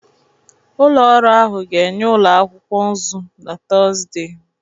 Ụlọ ọrụ ahụ ga-enye ụlọ akwụkwọ nzu na Tuzdee